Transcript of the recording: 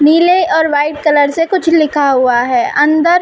नीले और white colour से कुछ लिखा हुआ है। अंदर --